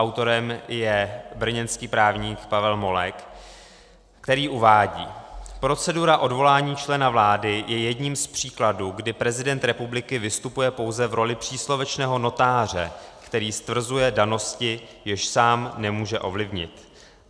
Autorem je brněnský právník Pavel Molek, který uvádí: Procedura odvolání člena vlády je jedním z příkladů, kdy prezident republiky vystupuje pouze v roli příslovečného notáře, který stvrzuje danosti, jež sám nemůže ovlivnit.